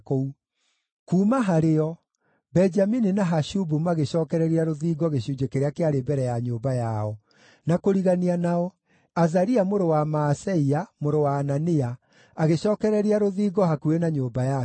Kuuma harĩo, Benjamini na Hashubu magĩcookereria rũthingo gĩcunjĩ kĩrĩa kĩarĩ mbere ya nyũmba yao; na kũrigania nao, Azaria mũrũ wa Maaseia, mũrũ wa Anania, agĩcookereria rũthingo hakuhĩ na nyũmba yake.